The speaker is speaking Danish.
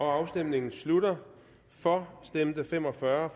afstemningen slutter for stemte fem og fyrre